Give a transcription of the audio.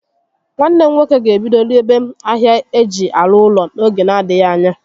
Nwanne m nwoke ga-ebido rebe ahịa ihé eji arụ ụlọ n'oge n'adịghị ányá